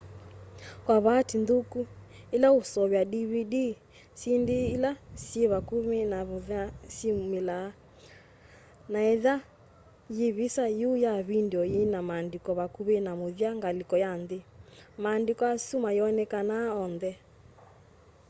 kwa vaatĩĩ nthũkũ ĩla ũseũvya dvd syĩndĩ ĩla syĩ vakũmĩ na mũthya sĩyũmĩlaa na etha yĩ vĩsa yũ ya vĩndĩo yĩna maandĩko vakũvĩ na mũthya ngalĩko ya nthĩ maandĩko asũ mayonekanaa onthe